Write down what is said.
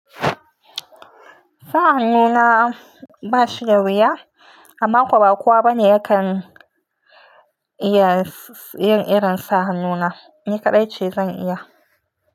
Sa hannu na ba shi da wuya amma kuwa ba kowa bane yake iya yin irin sa hannu na, ni kaɗai ce zan iya.